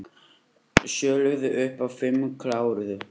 Sjö lögðu upp en fimm kláruðu